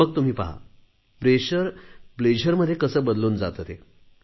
मग तुम्ही पहा दडपण आनंदात कसे बदलून जाते ते